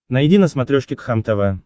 найди на смотрешке кхлм тв